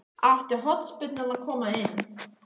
Átti hornspyrnan að koma inn?